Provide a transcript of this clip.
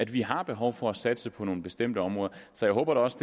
vi har behov for at satse på nogle bestemte områder så jeg håber da også